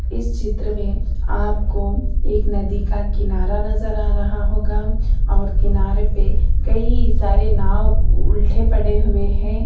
इस चित्र में आपको एक नदी का किनारा नजर आ रहा होगा और किनारे पर कई सारे नाव उल्टे पड़े हुए हैं।